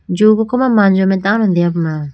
zoo ko ko ma manjo mai tando deyapuma.